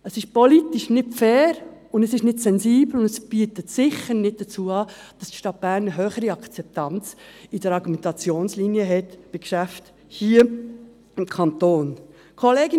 Das ist politisch nicht fair, es ist nicht sensibel und trägt sicher nicht dazu bei, dass die Stadt Bern eine höhere Akzeptanz in der Argumentationslinie zu Geschäften hier beim Kanton erhält.